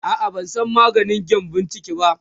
a'a ban San maganin gyambun ciki ba